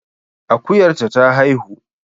Akuyar ta ta haihu